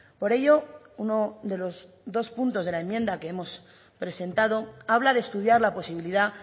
por ello uno de los dos puntos de la enmienda que hemos presentado habla de estudiar la posibilidad